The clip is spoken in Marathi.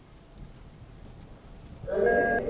काही रे